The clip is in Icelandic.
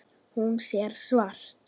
Hún sér svart.